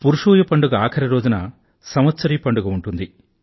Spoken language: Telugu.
పురుషూయ పండుగ ఆఖరిరోజున సంవత్సరీ పండుగ ఉంటుంది